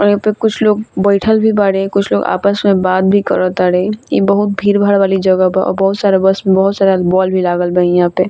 और यहाँ पे कुछ लोग बइठल भी बाड़े कुछ लोग आपस में बात भी करतारे ई बहुत भीड़-भाड़ वाली जगह बा और बहुत सारा बस में बहुत सारा बॉल भी लागल बा इहां पे।